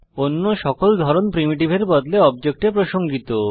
অন্য সকল ধরন প্রিমিটিভের বদলে অবজেক্টে প্রসঙ্গিত